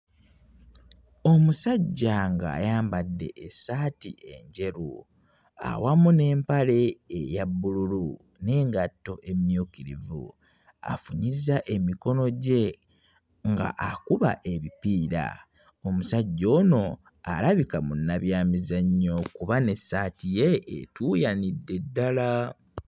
Omusajja ng'ayambadde essaati enjeru awamu n'empale eya bbululu n'engatto emmyukirivu, afunyizza emikono gye nga akuba ebipiira. Omusajja ono alabika munnabyamizannyo kuba n'essaati ye etuuyanidde ddala.